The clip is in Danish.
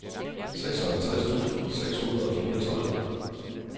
seksoghalvtreds tusind seks hundrede og fireogtredive